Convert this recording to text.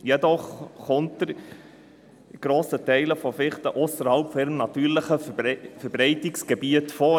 Die Fichte kommt jedoch zu grossen Teilen ausserhalb ihres üblichen Verbreitungsgebiets vor.